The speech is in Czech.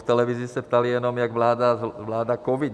V televizi se ptali jenom, jak vláda... covid.